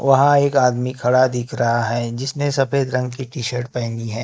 वहां एक आदमी खड़ा दिख रहा है जिसने सफेद रंग की टी शर्ट पहनी है।